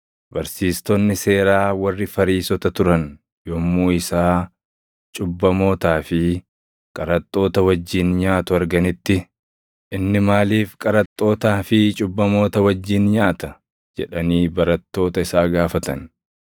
Barsiistonni seeraa warri Fariisota turan yommuu isaa cubbamootaa fi qaraxxoota wajjin nyaatu arganitti, “Inni maaliif qaraxxootaa fi cubbamoota wajjin nyaata?” jedhanii barattoota isaa gaafatan.